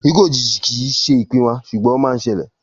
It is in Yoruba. Ikú òjijì kìí ṣe ìpín wa, sùgbón ọ man ṣẹlẹ̀